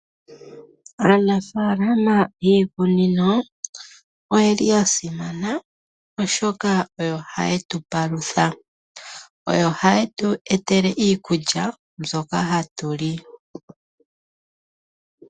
Aanafaalama yiikunino oyeli ya simana oshoka oyo haye tu palutha, oyo haye tu etele iikulya mbyoka hatu li.